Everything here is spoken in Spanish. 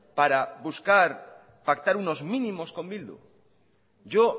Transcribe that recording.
para buscar pactar unos mínimos con bildu yo